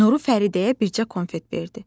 Nuru Fəridəyə bircə konfet verdi.